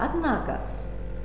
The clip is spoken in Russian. однако